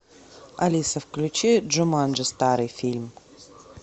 алиса включи джуманджи старый фильм